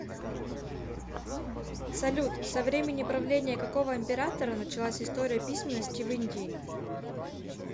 салют со времени правления какого императора началась история письменности в индии